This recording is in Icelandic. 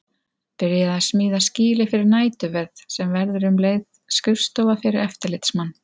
Byrjað að smíða skýli fyrir næturvörð sem verður um leið skrifstofa fyrir eftirlitsmann.